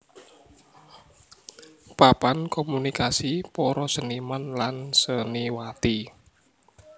Papan komunikasi para seniman lan seniwati